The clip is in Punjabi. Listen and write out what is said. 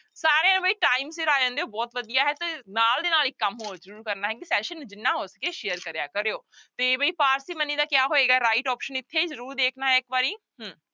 ਸਾਰੇ ਬਈ time ਸਿਰ ਆ ਜਾਂਦੇ ਹੋ ਬਹੁਤ ਵਧੀਆ ਹੈ ਤੇ ਨਾਲ ਦੀ ਨਾਲ ਇੱਕ ਕੰਮ ਹੋਰ ਜ਼ਰੂਰ ਕਰਨਾ ਹੈ ਕਿ session ਨੂੰ ਜਿੰਨਾ ਹੋ ਸਕੇ share ਕਰਿਆ ਕਰਿਓ ਤੇ ਵੀ parsimony ਦਾ ਕਿਆ ਹੋਏਗਾ right option ਇੱਥੇ ਜ਼ਰੂਰ ਦੇਖਣਾ ਹੈ ਇੱਕ ਵਾਰੀ ਹਮ